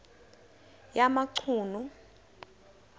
yamachunu